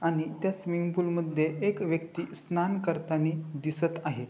आणि त्या स्विमिंगपूल मध्ये एक व्यक्ति स्नान करतानी दिसत आहे.